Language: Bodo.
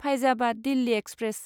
फायजाबाद दिल्ली एक्सप्रेस